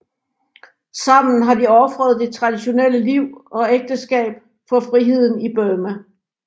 Sammen har de ofret det traditionelle liv og ægteskab for friheden i Burma